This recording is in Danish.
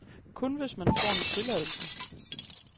Kun hvis man får en tilladelse.